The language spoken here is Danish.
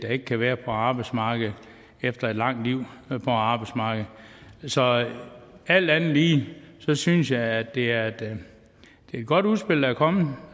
ikke kan være på arbejdsmarkedet efter et langt liv på arbejdsmarkedet så alt andet lige synes jeg at det er et godt udspil der er kommet